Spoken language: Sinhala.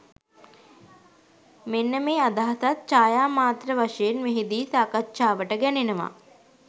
මෙන්න මේ අදහසත් ඡායා මාත්‍ර වශයෙන් මෙහි දී සාකච්ඡාවට ගැනෙනවා.